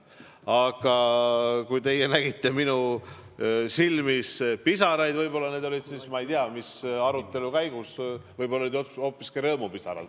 Aga kui teie nägite minu silmis pisaraid, siis võib-olla need olid – ma ei tea, mis arutelu käigus – hoopiski rõõmupisarad.